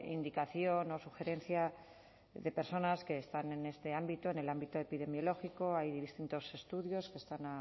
indicación o sugerencia de personas que están en este ámbito en el ámbito epidemiológico hay distintos estudios que están